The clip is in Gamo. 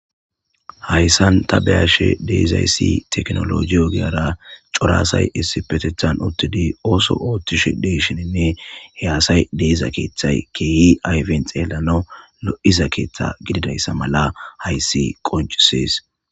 Haysan tha be7ashee de7izayssi theknoolooje ogiyara cora asay issippetheththan uththidi ooso ooththishe de7ishininne he asay de7iza keeththay keehi ayfen xeellanawu lo7iza keeththaa gididaysa mala hayssi qonccissees.